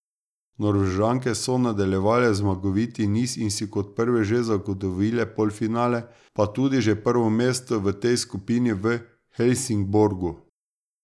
Norvežanke so nadaljevale zmagoviti niz in si kot prve že zagotovile polfinale, pa tudi že prvo mesto v tej skupni v Helsingborgu.